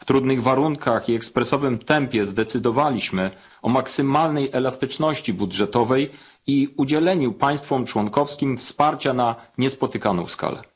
W trudnych warunkach i ekspresowym tempie zdecydowaliśmy o maksymalnej elastyczności budżetowej i udzieleniu państwom członkowskim wsparcia na niespotykaną skalę.